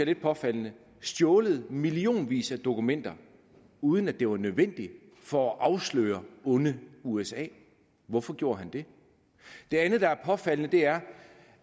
lidt påfaldende stjålet millionvis dokumenter uden at det var nødvendigt for at afsløre onde usa hvorfor gjorde han det det andet der er påfaldende er